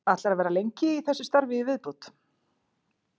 Ætlarðu að vera lengi í þessu starfi í viðbót?